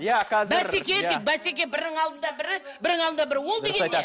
иә қазір бәсеке де бәсеке бірінің алдында бірі бірінің алдында бірі ол деген не